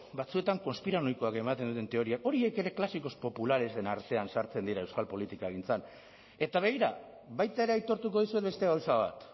batzuetan konspiranoikoak ematen duten teoria hori ere clásicos popularesen artean sartzen dira euskal politikagintzan eta begira baita ere aitortuko dizuet beste gauza bat